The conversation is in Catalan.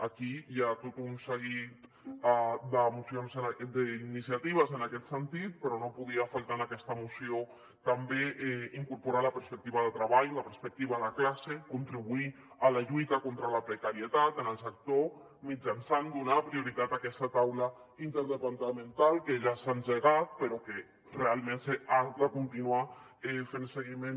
aquí hi ha tot un seguit d’iniciatives en aquest sentit però no podia faltar en aquesta moció també incorporar hi la perspectiva de treball la perspectiva de classe contribuir a la lluita contra la precarietat en el sector mitjançant donar prioritat a aquesta taula interdepartamental que ja s’ha engegat però que realment se n’ha de continuar fent seguiment